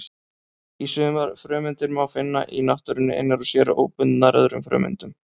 Sumar frumeindir má finna í náttúrunni einar sér, óbundnar öðrum frumeindum.